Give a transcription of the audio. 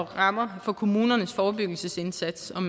rammer for kommunernes forebyggelsesindsats